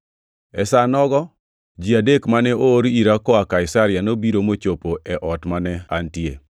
“E sa nogo ji adek mane oor ira koa Kaisaria nobiro mochopo e ot mane antie.